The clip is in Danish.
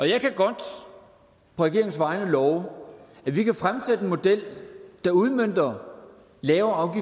jeg kan godt på regeringens vegne love at vi kan fremsætte en model der udmønter lavere